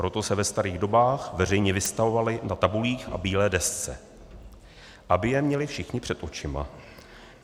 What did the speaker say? Proto se ve starých dobách veřejně vystavovaly na tabulích a bílé desce, aby je měli všichni před očima.